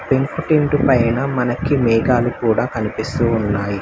పెంకుటింటు పైన మనకి మేఘాలు కూడా కనిపిస్తూ ఉన్నాయి.